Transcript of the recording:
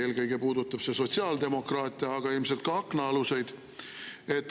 Eelkõige puudutab see sotsiaaldemokraate, aga ilmselt ka aknaaluseid.